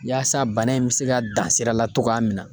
Yaasa bana in bɛ se ka dan sira la cogoya min na.